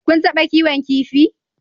Kun taɓa kiwon kifi?